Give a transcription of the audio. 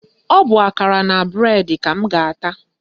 Ọ bụ akara na bụredi ka m ga-ata